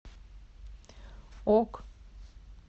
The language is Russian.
ок